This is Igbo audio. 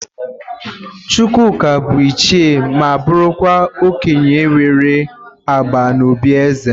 Chukwuka bụ ịchie ma bụrụkwa okenye nwere agba n'òbí ézè.